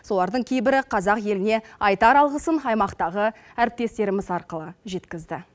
солардың кейбірі қазақ еліне айтар алғысын аймақтағы әріптестеріміз арқылы жеткізді